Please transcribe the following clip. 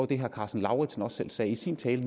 det herre karsten lauritzen også selv sagde i sin tale